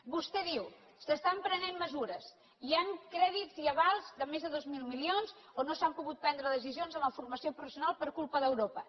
vostè diu s’estan prenent mesures hi han crèdits i avals de més de dos mil milions on no s’han pogut prendre decisions en la formació professional per culpa d’europa